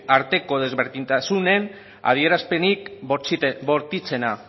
arteko desberdintasunen adierazpenik bortitzena